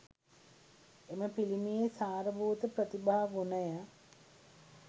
එම පිළිමයේ සාර භූත ප්‍රතිභා ගුණය